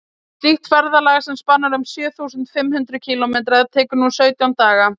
slíkt ferðalag sem spannar um sjö þúsund fimm hundruð kílómetra tekur nú sautján daga